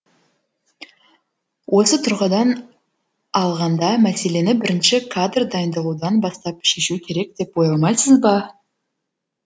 осы тұрғыдан алғанда мәселені бірінші кадр дайындаудан бастап шешу керек деп ойламайсыз ба